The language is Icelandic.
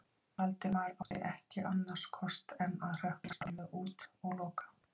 Valdimar átti ekki annars kost en að hrökklast alveg út og loka.